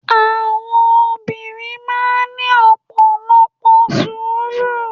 Àwọn Obìnrin máa n ní ọ̀pọ̀lọpọ̀ sùúrù